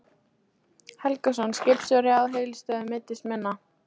Helgason, skipstjóri á Helgustöðum, meiddist minna.